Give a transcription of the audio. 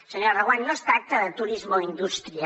senyora reguant no es tracta de turisme o indústria